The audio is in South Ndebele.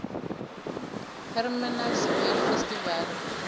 hermanus whale festival